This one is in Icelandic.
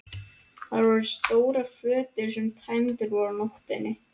Þar voru stórar fötur sem tæmdar voru á nóttinni.